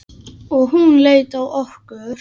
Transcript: Og hún leit á okkur.